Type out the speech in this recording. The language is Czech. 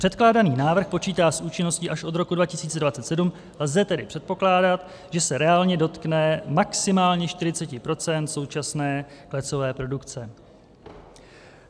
Předkládaný návrh počítá s účinností až od roku 2027, lze tedy předpokládat, že se reálně dotkne maximálně 40 % současné klecové produkce.